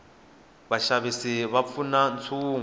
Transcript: vaxavisi va pfuna ntshungu